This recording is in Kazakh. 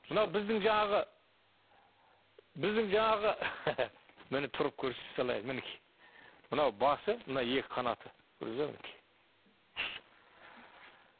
мынау біздің жаңағы біздің жанағы міне тұрып көрсете салайын мінекей мынау басы мынау екі қанаты көрдіңіз бе мінекей